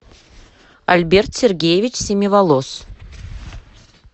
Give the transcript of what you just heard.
альберт сергеевич семиволос